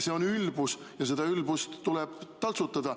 See on ülbus ja seda ülbust tuleb taltsutada.